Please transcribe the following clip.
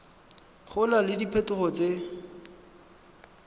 go na le diphetogo tse